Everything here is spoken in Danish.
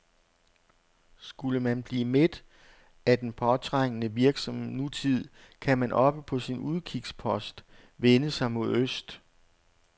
Skulle man blive mæt af den påtrængende, virksomme nutid, kan man oppe på sin udkigspost vende sig mod øst.